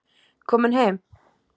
Komin heim?